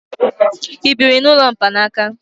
i biri n'ụlọ mkpanaka?